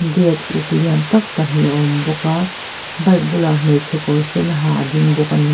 gate uk lian tak pahnih a awm bawk a bike bulah hmeichhe kawr sen ha a ding bawk a ni.